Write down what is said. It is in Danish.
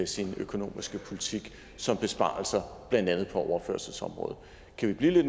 sin økonomiske politik som besparelser blandt andet på overførselsområdet kan vi